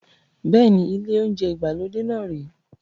Bẹ́ẹ̀ni, ile ounjẹ ìgbàlódé náà rè é